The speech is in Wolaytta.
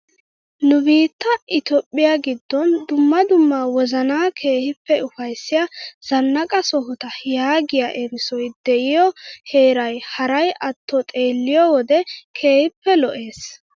Nu biittaa itoophphiyaa giddon dumma dumma wozanaa keehippe ufayssiyaa zannaqa sohota yaagiyaa erissoy de'iyoo heeray haray atto xeelliyoo wode keehippe lo"ees.